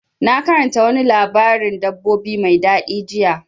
Na karanta wani labarin dabbobi mai daɗi jiya.